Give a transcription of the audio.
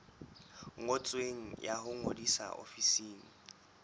ngotsweng ya ho ngodisa ofising